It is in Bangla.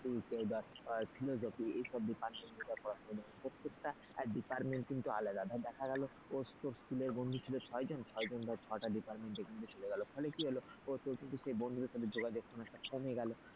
কেউ ধর philosophy এই সব department প্রত্যেকটা department কিন্তু আলাদা যা করে স্কুলে বন্ধু ছিল ছয় জন ধরা ছয়টা department তিনটে তিনটে চলে গেল ফলে কি হলো সেই বন্ধুদের সঙ্গে যোগাযোগ অনেকটা কমে গেল,